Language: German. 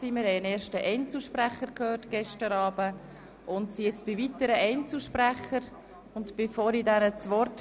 Wir führen eine freie Debatte und als nächster Einzelsprecher hat Grossrat Benoit das Wort.